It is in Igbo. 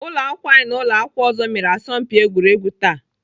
Ụlọakwụkwọ anyị na ụlọakwụkwọ ọzọ mere asọmpi egwuregwu taa